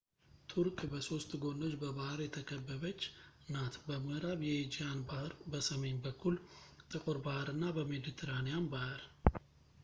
ቱርክ በሶስት ጎኖች በባህር የተከበበች ናት-በምእራብ የኤጂያን ባህር ፣ በሰሜን በኩል ጥቁር ባህር እና በሜድትራንያን ባህር